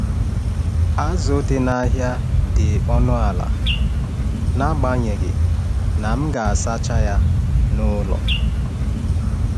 Azụ dị n’ahịa dị ọnụ ala, n’agbanyeghị na m ga-asacha ya n’ụlọ.